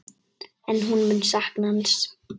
En hún mun sakna hans.